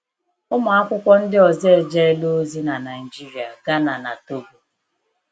Ụmụ akwụkwọ ndị ọzọ ejela ozi na Nigeria, Ghana, na Togo.